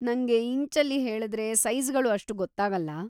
ನಂಗೆ ಇಂಚಲ್ಲಿ ಹೇಳ್ದ್ರೆ ಸೈಜ್‌ಗಳು ಅಷ್ಟು ಗೊತ್ತಾಗಲ್ಲ.